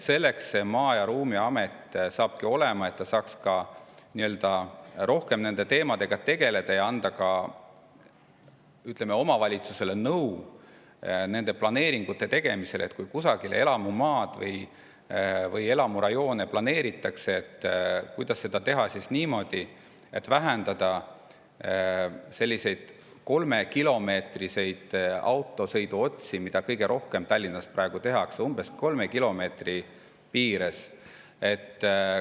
Selleks Maa- ja Ruumiamet saabki olema, et seal saaks rohkem nende teemadega tegeleda ja anda ka omavalitsustele nõu nende planeeringute tegemisel, et kui kusagile elamumaad või elamurajoone planeeritakse, kuidas seda teha niimoodi, et vähendada selliseid umbes 3 kilomeetri piires autosõiduotsi, mida Tallinnas praegu kõige rohkem tehakse.